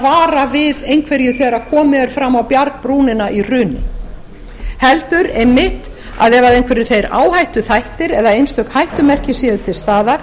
vara við einhverju þegar komið er fram á bjargbrúnina í hruni heldur einmitt að ef einhverjir þeir áhættuþættir eða einstök hættumerki séu til staðar